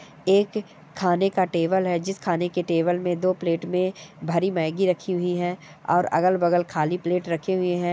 एक खाने का टेबल है जिस खाने के टेबल में दो प्लेट में भरी मैगी रखी हुई है और अगल-बगल खाली प्लेट रखे हुए हैं।